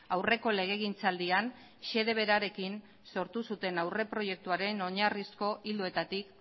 aurreko legegintzaldian xede berarekin sortu zuten aurreproiektuaren oinarrizko ildoetatik